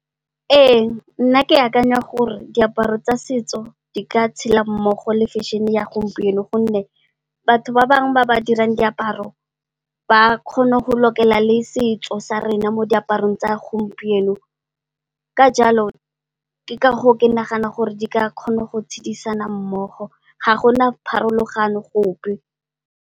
Ee nna ke akanya gore diaparo tsa setso di ka tshela mmogo le fešene ya gompieno. Gonne, batho ba bangwe ba ba dirang diaparo ba kgone go lokela le setso sa rena mo diaparong tsa gompieno. Ka jalo, ke ka goo ke nagana gore di ka kgona go tshedisana mmogo, ga gona pharologano gope.